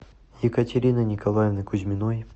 екатерины николаевны кузьминой